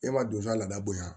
E b'a don sa ladabo yan